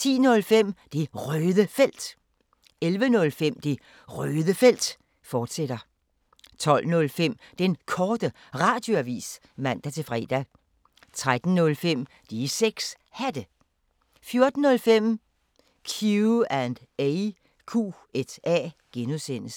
10:05: Det Røde Felt 11:05: Det Røde Felt, fortsat 12:05: Den Korte Radioavis (man-fre) 13:05: De 6 Hatte 14:05: Q&A (G)